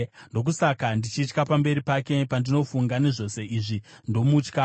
Ndokusaka ndichitya pamberi pake; pandinofunga nezvose izvi, ndomutya.